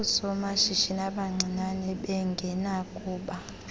oosomashishini abancinane bengenakuba